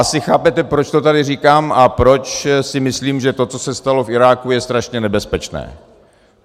Asi chápete, proč to tady říkám a proč si myslím, že to, co se stalo v Iráku, je strašně nebezpečné.